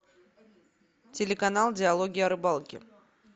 телеканал диалоги о рыбалке